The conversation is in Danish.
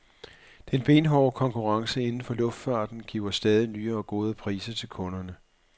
Den benhårde konkurrence inden for luftfarten giver stadig nye og gode priser til kunderne. punktum